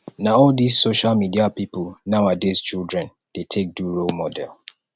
na all dis social media pipu nowadays children dey take do role model